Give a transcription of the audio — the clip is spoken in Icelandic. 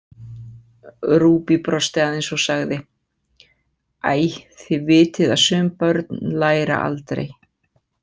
Ruby brosti aðeins og sagði: Æ, þið vitið að sum börn læra aldrei.